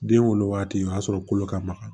Den wolo wagati o y'a sɔrɔ kolo ka maga